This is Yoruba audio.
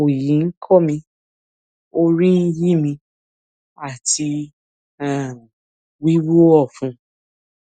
oyi ko mi orí ń yí mi àti um wíwú ọfun